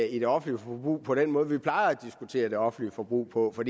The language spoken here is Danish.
i det offentlige forbrug på den måde vi plejer at diskutere det offentlige forbrug på for